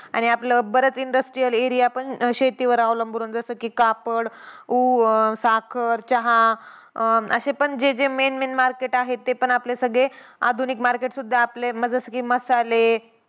आणि आपला बराच industrial area पण शेतीवर अवलंबून आहे. जसं की कापड, ऊ अं साखर, चहा अं अशे पण जे जे main main market आहेत ते पण आपले सगळे आधुनिक market सुद्धा आपले जसं की मसाले,